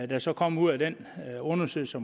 der så kommer ud af den undersøgelse